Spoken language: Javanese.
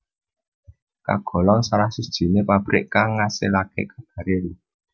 kagolong salah sijiné pabrik kang ngasilake karbaril